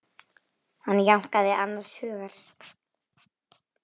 Hann jánkaði annars hugar.